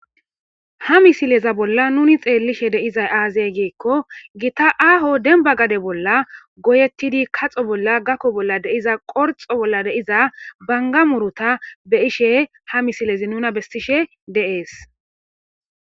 Ha missileza bolla nuni xelishshe de'izay aze gikko gita aho dembba gade bolla goyeti gakko bolla, kaxo bolla ,qorxo bolla de'iza bangga muruta be'ishe ha missilei nuna besishe de'es.